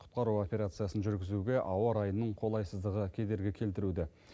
құтқару операциясын жүргізуге ауа райының қолайсыздығы кедергі келтіруде